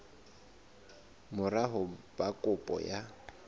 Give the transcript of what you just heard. mora ho ba kopo ya